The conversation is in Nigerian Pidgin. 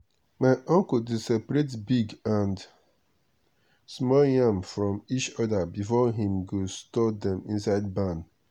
my uncle dey separate big and small yam from each other before him go store dem inside barn.